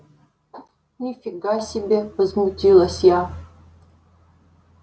ни фига себе возмутилась я